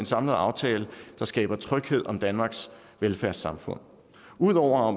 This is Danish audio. samlet aftale der skaber tryghed om danmarks velfærdssamfund ud over